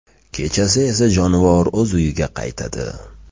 Kechasi esa jonivor o‘z uyiga qaytadi.